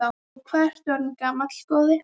Og hvað ertu orðinn gamall, góði?